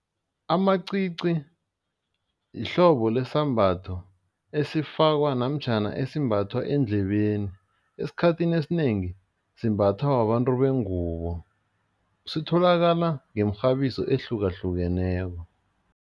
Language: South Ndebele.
Amacici yihlobo lesambatho esifakwa namtjhana esimbathwa endlebeni, esikhathini esinengi simbathwa babantu bengubo sitholakala ngemirhabiso ehlukahlukeneko.